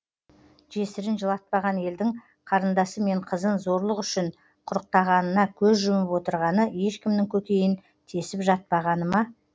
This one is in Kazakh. жесірін жылатпаған елдің қарындасы мен қызын зорлық үшін құрықтағанына көз жұмып отырғаны ешкімнің көкейін тесіп жатпағаны ма